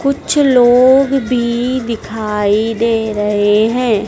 कुछ लोग भी दिखाई दे रहे हैं।